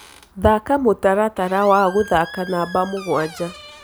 thaka mũtaratara wa gũthaka namba mũgwanja